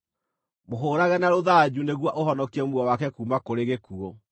Mũhũũrage na rũthanju nĩguo ũhonokie muoyo wake kuuma kũrĩ gĩkuũ.